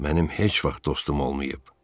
Mənim heç vaxt dostum olmayıb.